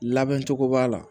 Labɛn cogo b'a la